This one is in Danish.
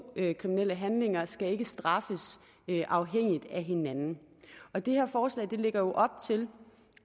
kriminelle handlinger skal ikke straffes afhængigt af hinanden og det her forslag lægger jo op til